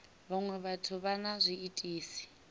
vhaṅwe vhathu vha na zwiitisi